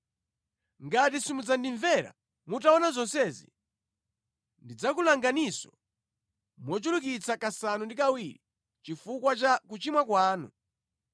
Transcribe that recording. “ ‘Ngati simudzandimvera mutaona zonsezi, ndidzakulanganinso mochulukitsa kasanu ndi kawiri chifukwa cha kuchimwa kwanu.